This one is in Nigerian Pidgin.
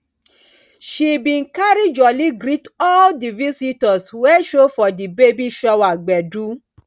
she bin carry jolly greet all di visitors wey show for di baby shower gbedu